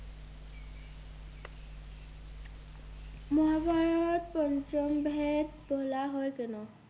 মহাভারত পঞ্চমবেদ বলা হয় কেন?